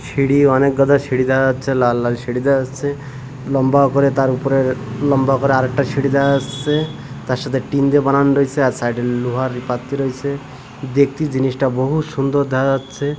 সিঁড়ি অনেকগাদা সিঁড়ি দেখা যাচ্ছে লাল লাল সিঁড়ি দেখা যাচ্ছে লম্বা করে তার উপরে লম্বা করে আর একটা সিঁড়ি দেখা যাচ্ছে তার সাথে টিন দিয়ে বানান রয়েসে আর সাইড -এ লোহার পাত রয়েসে দেখতে জিনিসটা বহুত সুন্দর দেখা যাচ্ছে।